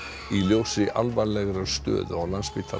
í ljósi alvarlegrar stöðu á Landspítala